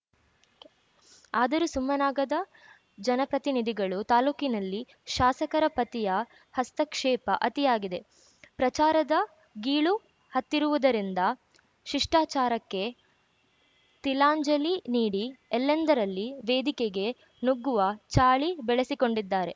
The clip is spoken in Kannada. ಆದರೂ ಸುಮ್ಮನಾಗದ ಜನಪ್ರತಿನಿಧಿಗಳು ತಾಲೂಕಿನಲ್ಲಿ ಶಾಸಕರ ಪತಿಯ ಹಸ್ತಕ್ಷೇಪ ಅತಿಯಾಗಿದೆ ಪ್ರಚಾರದ ಗೀಳು ಹತ್ತಿರುವುದರಿಂದ ಶಿಷ್ಟಾಚಾರಕ್ಕೆ ತಿಲಾಂಜಲಿ ನೀಡಿ ಎಲ್ಲೆಂದರಲ್ಲಿ ವೇದಿಕೆಗೆ ನುಗ್ಗುವ ಚಾಳಿ ಬೆಳಿಸಿಕೊಂಡಿದ್ದಾರೆ